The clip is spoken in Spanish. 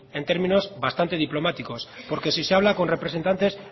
en términos bastante diplomáticos porque si se habla con representantes